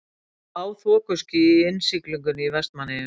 Lág þokuský í innsiglingunni í Vestmannaeyjum.